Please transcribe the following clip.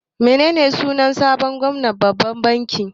Menene sunan sabon gwamnan babban banki?